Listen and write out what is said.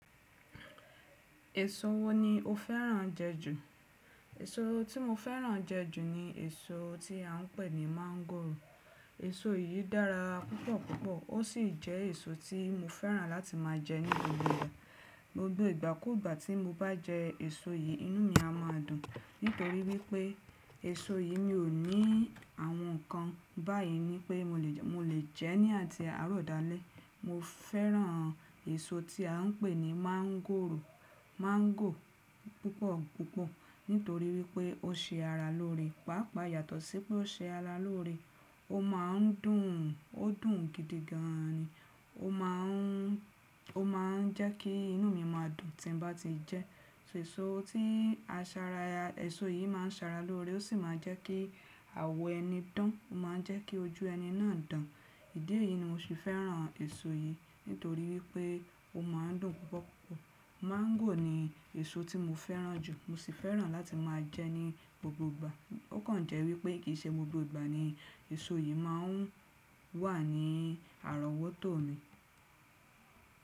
Èso wo ni o fẹ́ràn jẹ ju? Èso tí mo fẹ́ràn jẹ ju ni èso tí à ń pè ní mángòrò. Èso yìí dára púpọ̀ púpọ̀ ó sì jẹ́ èso tí mo fẹ́ràn láti máa jẹ ní gbogbo ìgbà. Gbogbo ìgbàkuugbà tí mo bá jẹ èso yìí inú mi a máa dùn. Nítorí wípé èso yìí mi ò ní àwọn ǹkan báyìí ni pé mo lè jẹ ẹ́ ní àti àárọ̀ dalẹ́. Mo fẹ́ràn èso tí à ń pè ní mángòrò, mángò púpọ̀ púpọ̀ nítorí wípé ó ṣe ara lóore. Pápa yàtọ̀ sí pé ó ṣe ara lóore, ó máa ń dùn, ó dùn gidi gan ni. Ó máa ń jẹ́ kí inú mi máa dùn tí n bá ti jẹ ẹ́. Ṣé èso tí a Sara, èso yìí máa ń sara lóore ó sì máa ń jẹ́ kí àwọ̀ ẹni dán, ó máa ń jẹ́ kí ojú ẹni náà dán. Ìdí èyí ni mo sì fẹ́ràn èso yìí nítorí wípé ó máa ń dùn púpọ̀ púpọ̀. Mángò ni èso tí mo fẹ́ràn jù. Mo sì fẹ́ràn láti máa jẹ ẹ́ ní gbogbo ìgbà. Ó kàn jẹ́ wípé kì í ṣe gbogbo ìgbà ni èso yìí máa ń wà ní àrọ̀wótó mi.